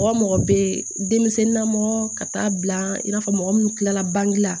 Mɔgɔ mɔgɔ bɛ denmisɛnnin na mɔgɔ ka taa bila i n'a fɔ mɔgɔ minnu kilala bange la